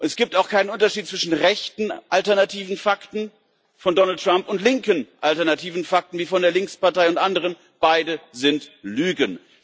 Es gibt auch keinen Unterschied zwischen rechten alternativen Fakten von Donald Trump und linken alternativen Fakten von der Linkspartei und anderen. Beide sind Lügen.